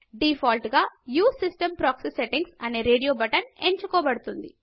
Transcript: default గా use system proxy settings అనే radio button ఎంచుకోబడుతుంది